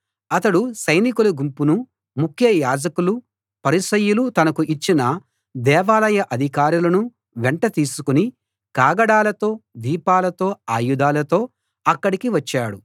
అతడు సైనికుల గుంపును ముఖ్య యాజకులు పరిసయ్యులు తనకు ఇచ్చిన దేవాలయ అధికారులను వెంట తీసుకుని కాగడాలతో దీపాలతో ఆయుధాలతో అక్కడికి వచ్చాడు